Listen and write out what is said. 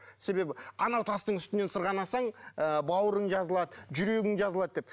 себебі анау тастың үстінен сырғанасаң ы бауырың жазылады жүрегің жазылады деп